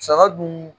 Saga dun